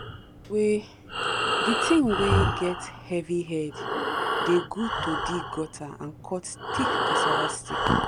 the thing wey the thing wey get heavy head dey good to dig gutter and cut thick cassava stick